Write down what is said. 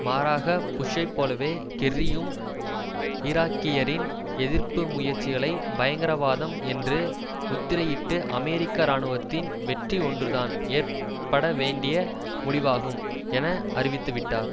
மாறாக புஷ்ஷை போலவே கெர்ரியும் ஈராக்கியரின் எதிர்ப்பு முயற்சிகளை பயங்கரவாதம் என்று முத்திரையிட்டு அமெரிக்க இராணுவத்தின் வெற்றி ஒன்றுதான் ஏற்ப்படவேண்டிய முடிவாகும் என அறிவித்துவிட்டார்